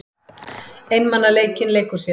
Einmanaleikinn leikur sér.